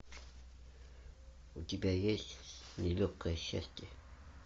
у тебя есть нелегкое счастье